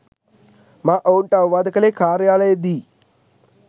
මා ඔවුන්ට අවවාද කළේ කාර්යාලයේදීයි.